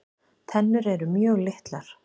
Tennur eru mjög litlar.